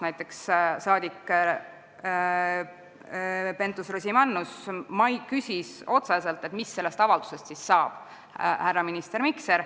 Näiteks küsis saadik Pentus-Rosimannus härra ministrilt otse, mis sellest avaldusest siis saab.